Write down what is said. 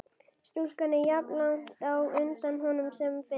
Stúlkan er jafnlangt á undan honum sem fyrr.